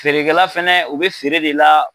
Feerekɛla fɛnɛ u bɛ feere de la.